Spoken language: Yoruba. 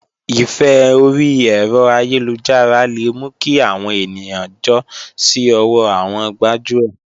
Ìfẹ́ orí ẹ̀rọ ayélujára le mú kí àwọn ènìyàn jọ́ sí ọwọ́ àwọn gbájúẹ̀